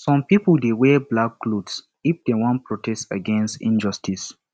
some pipo dey wear black cloth if dem wan protest against injustice